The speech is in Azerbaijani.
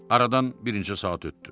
Aradan bir neçə saat ötdü.